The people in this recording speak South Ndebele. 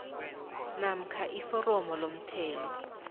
namkha iforomo lomthelo